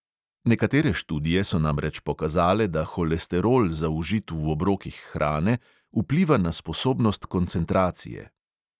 Nekatere študije so namreč pokazale, da holesterol, zaužit v obrokih hrane, vpliva na sposobnost koncentracije.